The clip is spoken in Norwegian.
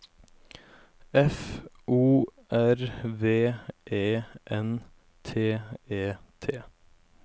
F O R V E N T E T